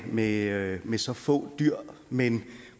med med så få dyr men